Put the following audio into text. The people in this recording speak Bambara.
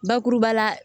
Bakuruba la